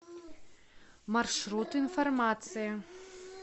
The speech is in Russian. маршрут информация